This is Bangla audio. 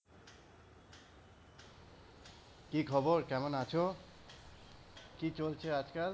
কি খবর? কেমন আছো? কি চলছে আজকাল?